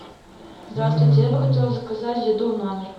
здравствуйте я бы хотела заказать еду в номер